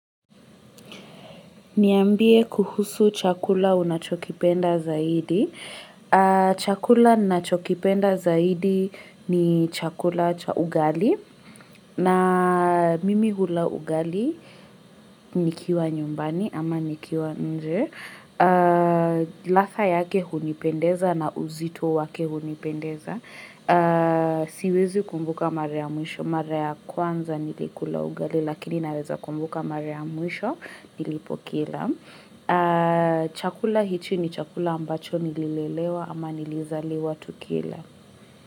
Niambie kuhusu chakula unachokipenda zaidi. Chakula ninachokipenda zaidi ni chakula cha ugali. Na mimi hula ugali nikiwa nyumbani ama nikiwa nje. Ladha yake hunipendeza na uzito wake hunipendeza. Siwezi kumbuka mara ya mwisho. Mara ya kwanza nilikula ugali lakini naweza kumbuka mara ya mwisho nilipokila. Chakula hichi ni chakula ambacho nililelewa ama nilizaleliwa tukila.